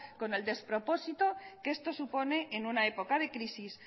con el despropósito que esto supone en una época de crisis